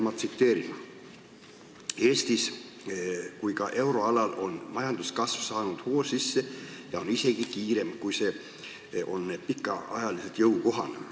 Ma tsiteerin: "Nii Eestis kui ka euroalal on majanduskasv saanud hoo sisse ja on isegi kiirem, kui see on pikaajaliselt jõukohane.